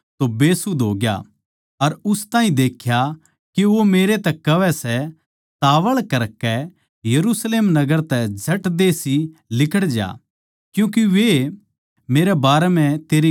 अर उस ताहीं देख्या के वो मेरै तै कहवै सै तावळ करकै यरुशलेम नगर तै झट देसी लिकड़ज्या क्यूँके वे मेरै बारै म्ह तेरी गवाही कोनी मान्नैगें